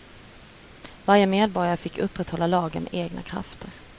Varje medborgare fick upprätthålla lagen med egna krafter.